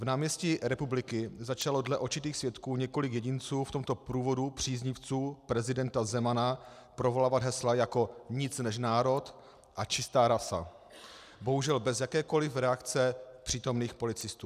Na náměstí Republiky začalo dle očitých svědků několik jedinců v tomto průvodu příznivců prezidenta Zemana provolávat hesla jako Nic než národ a Čistá rasa, bohužel bez jakékoliv reakce přítomných policistů.